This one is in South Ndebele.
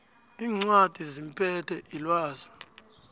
iincwadi zimumethe ilwazi